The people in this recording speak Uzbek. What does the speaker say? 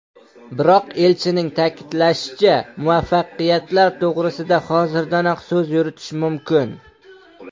Biroq, elchining ta’kidlashicha, muvaffaqiyatlar to‘g‘risida hozirdanoq so‘z yuritish mumkin.